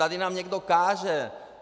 Tady nám někdo káže.